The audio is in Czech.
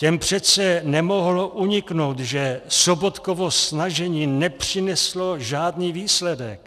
Těm přece nemohlo uniknout, že Sobotkovo snažení nepřineslo žádný výsledek.